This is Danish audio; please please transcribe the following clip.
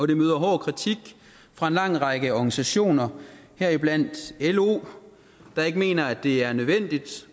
det møder hård kritik fra en lang række organisationer heriblandt lo der ikke mener at det er nødvendigt